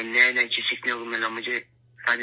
ہمیں نئی نئی چیزیں سیکھنے کو ملیں